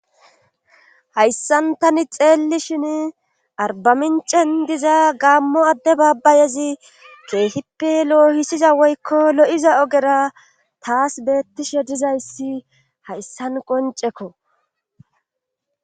hayssan tani xeelli shin arbamincen diza gaammo adde baabbayezi keehippe lo7ohisiza woykko lo7iza ogera taas beettishe dizayssi hayssan qoncekko